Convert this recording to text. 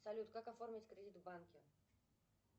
салют как оформить кредит в банке